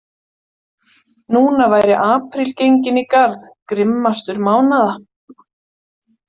Núna væri apríl genginn í garð, grimmastur mánaða.